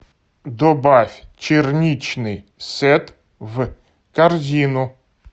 добавь черничный сет в корзину